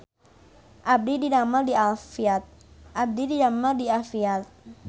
Abdi didamel di Afiat